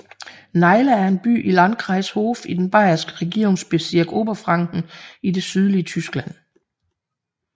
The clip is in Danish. Naila er en by i Landkreis Hof i den bayerske regierungsbezirk Oberfranken i det sydlige Tyskland